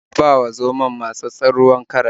Ya ba wa zomon matsatssen ruwan karas.